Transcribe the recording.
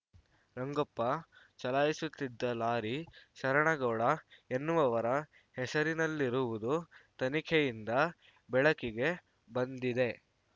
ರಂಗಪ್ಪ ಚಲಾಯಿಸುತ್ತಿದ್ದ ಲಾರಿ ಶರಣಗೌಡ ಎನ್ನುವವರ ಹೆಸರಿನಲ್ಲಿರುವುದು ತನಿಖೆಯಿಂದ ಬೆಳಕಿಗೆ ಬಂದಿದೆ